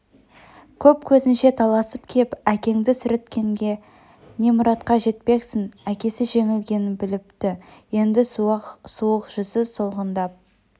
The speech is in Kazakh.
көп көзінше таласып кеп әкеңді сүрінткенде не мұратқа жетпексің әкесі жеңілгенін біліпті енді суық жүзі солғындап